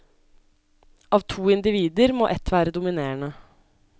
Av to individer må ett være dominerende.